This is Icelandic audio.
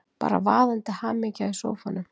Bara vaðandi hamingja í sófanum!